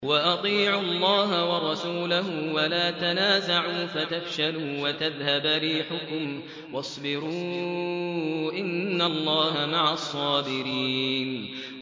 وَأَطِيعُوا اللَّهَ وَرَسُولَهُ وَلَا تَنَازَعُوا فَتَفْشَلُوا وَتَذْهَبَ رِيحُكُمْ ۖ وَاصْبِرُوا ۚ إِنَّ اللَّهَ مَعَ الصَّابِرِينَ